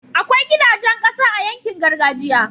akwai gidajan ƙasa a yankin gargajiya